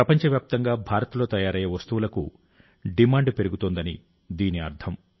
ప్రపంచవ్యాప్తంగా భారత్లో తయారయ్యే వస్తువులకు డిమాండ్ పెరుగుతోందని దీని అర్థం